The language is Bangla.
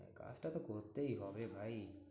কাজটা তো করতেই হবে ভাই।